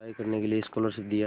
पढ़ाई करने के लिए स्कॉलरशिप दिया